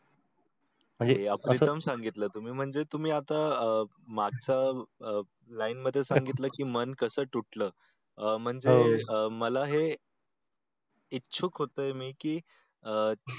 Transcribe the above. सांगितल तुम्ही म्हणजे आता अह मागच्या अह line मध्ये सांगितल की मन कस तुटल अह म्हणजे अह मला हे इच्छुक होतो मी की अं